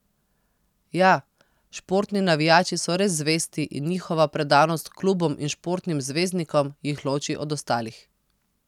Ja, športni navijači so res zvesti in njihova predanost klubom in športnim zvezdnikom jih loči od ostalih.